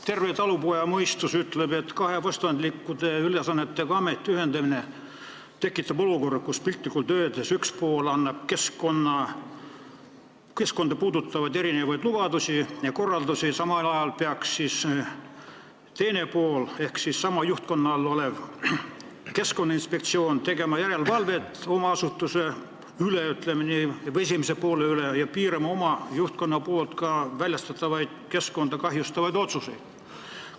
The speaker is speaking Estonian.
Terve talupojamõistus ütleb, et kahe vastandlike ülesannetega ameti ühendamine tekitab olukorra, kus piltlikult öeldes üks pool annab keskkonda puudutavaid lubadusi ja korraldusi, samal ajal peaks teine pool ehk sama juhtkonna all töötav Keskkonnainspektsioon tegema järelevalvet oma asutuse üle, ütleme nii, või selle esimese poole üle ja piirama oma juhtkonna väljastatavaid keskkonda kahjustavaid otsuseid.